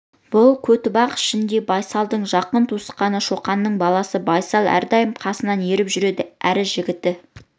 бұл көтібақ ішінде байсалдың жақын туысқаны шоқанның баласы байсал әрдайым қасына ертіп жүреді әрі жігіті